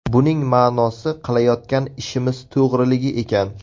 Buning ma’nosi qilayotgan ishimiz to‘g‘riligi ekan.